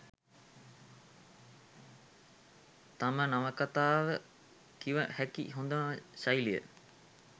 තම නවකතාව කිව හැකි හොඳම ශෛලිය